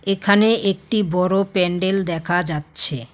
এখানে একটি বড় প্যান্ডেল দেখা যাচ্ছে।